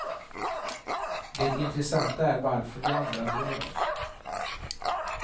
Det intressanta är varför vi andra bryr oss.